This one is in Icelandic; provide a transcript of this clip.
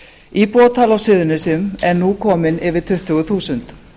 íbúatala á suðurnesjum ern ú komin yfir tuttugu þúsund